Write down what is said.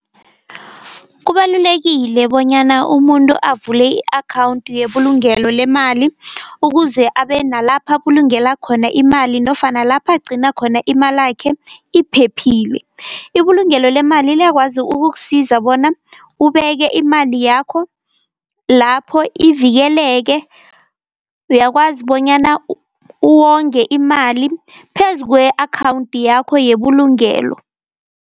Kubalulekile bonyana umuntu avule i-akhawundi yebulugelo lemali, ukuze abe nalapha abulungela khona imali nofana lapha agcina khona imalakhe iphephile. Ibulungelo lemali liyakwazi ukukusiza bona ubeke imali yakho lapho ivikeleke, uyakwazi bonyana uwongwe imali phezu kwe-akhawundi yakho yebulugelo.